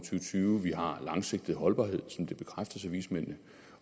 tyve vi har en langsigtet holdbarhed som det bekræftes af vismændene